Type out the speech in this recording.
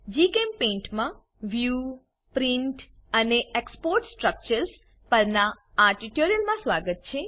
જીચેમ્પેઇન્ટ માં view print અને export structures ના પરનાં આ ટ્યુટોરીયલમાં સ્વાગત છે